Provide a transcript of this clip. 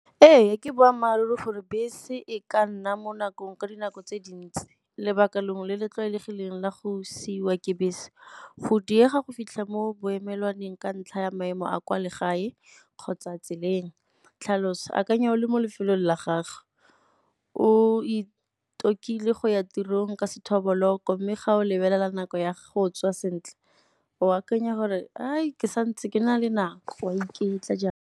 Ee, ke boammaaruri le gore bese e ka nna mo nakong ka dinako tse dintsi. Lebaka lengwe le le tlwaelegileng la go siwa ke bese, go diega go fitlha mo boemelwaneng ka ntlha ya maemo a kwa legae kgotsa tseleng. Tlhaloso, akanya o le mo lefelong la gagwe, o go ya tirong ka sethoboloko mme ga o lebelela nako ya go tswa sentle o akanya gore ke sa ntse ke na le nako o a iketla jang.